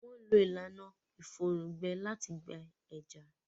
Wọ́n ń lo ìlànà ìfòrùn gbẹ láti gbẹ ẹja.